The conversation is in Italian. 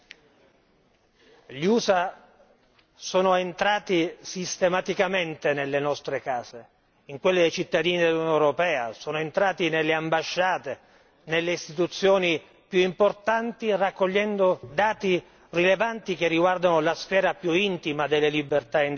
Gli USA sono entrati sistematicamente nelle nostre case, in quelle dei cittadini dell'Unione europea, sono entrati nelle ambasciate, nelle istituzioni più importanti raccogliendo dati rilevanti che riguardano la sfera più intima delle libertà individuali.